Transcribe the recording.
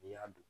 N'i y'a dun